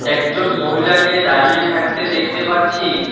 একজন মহিলাকে দাঁড়িয়ে থাকতে দেখতে পাচ্ছি।